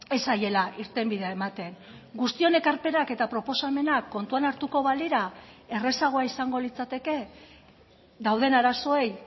ez zaiela irtenbidea ematen guztion ekarpenak eta proposamena kontuan hartuko balira errazagoa izango litzateke dauden arazoei